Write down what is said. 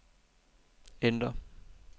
enter